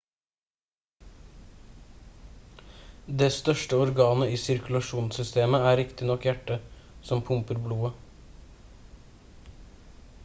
det største organet i sirkulasjonssystemet er riktignok hjertet som pumper blodet